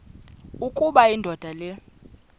ukuba indoda le